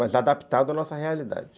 Mas adaptado à nossa realidade.